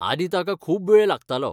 आदीं ताका खूब वेळ लागतालो.